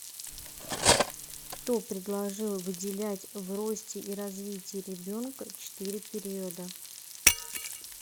кто предложил выделять в росте и развитии ребенка четыре периода